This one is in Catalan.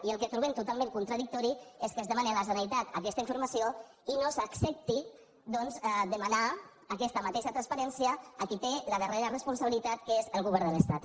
i el que trobem totalment contradictori és que es demani a la generalitat aquesta informació i que no s’accepti doncs demanar aquesta mateixa transparèn·cia a qui té la darrera responsabilitat que és el govern de l’estat